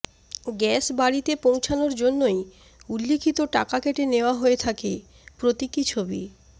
gas বাড়িতে পৌঁছানোর জন্যই উল্লিখিত টাকা কেটে নেওয়া হয়ে থাকে প্রতীকী ছবি